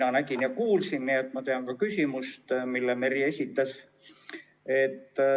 Mina nägin ja kuulsin, nii et ma tean ka küsimust, mille Merry esitas.